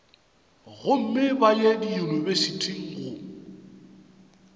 gomme ba ye diyunibesithi go